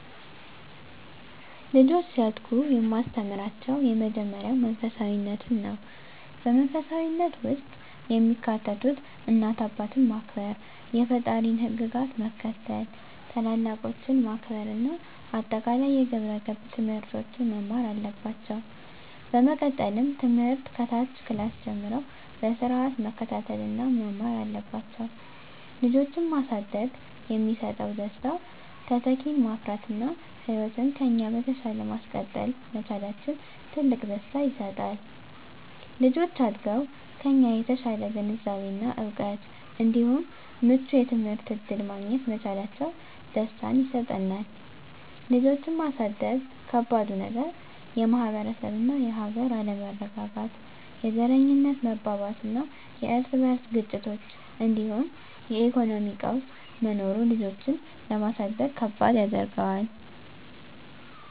ልጆች ሲያድጉ የማስተምራቸው የመጀመሪያው መንፈሳፊነትን ነው። በመንፈሳዊነት ውስጥ የሚካተቱት እናት አባትን ማክበር፣ የፈጣሪን ህግጋት መከተል፣ ታላላቆችን ማክበር እና አጠቃላይ የግብረ ገብ ትምህርቶችን መማር አለባቸው። በመቀጠልም ትምህርት ከታች ክላስ ጀምረው በስርአት መከታተል እና መማር አለባቸው። ልጆችን ማሳደግ የሚሰጠው ደስታ:- - ተተኪን ማፍራት እና ህይወትን ከኛ በተሻለ ማስቀጠል መቻላችን ትልቅ ደስታ ይሰጣል። - ልጆች አድገው ከኛ የተሻለ ግንዛቤ እና እውቀት እንዲሁም ምቹ የትምህርት እድል ማግኘት መቻላቸው ደስታን ይሰጠናል። ልጆችን ማሳደግ ከባዱ ነገር:- - የማህበረሰብ እና የሀገር አለመረጋጋት፣ የዘረኝነት መባባስና የርስ በርስ ግጭቶች እንዲሁም የኢኮኖሚ ቀውስ መኖሩ ልጆችን ለማሳደግ ከባድ ያደርገዋል።